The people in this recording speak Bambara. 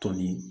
Tɔn nin